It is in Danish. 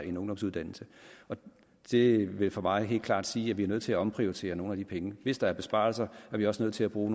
en ungdomsuddannelse det vil for mig helt klart sige at vi er nødt til at omprioritere nogle af de penge hvis der er besparelser er vi også nødt til at bruge